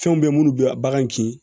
Fɛnw bɛ minnu bɛ bagan kin